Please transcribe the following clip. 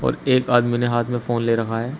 एक आदमी ने हाथ में फोन ले रखा है।